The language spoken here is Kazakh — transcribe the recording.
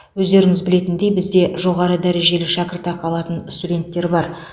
өздеріңіз білетіндей бізде жоғары дәрежелі шәкіртақы алатын студенттер бар